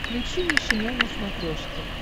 включи нейшенел на смотрешке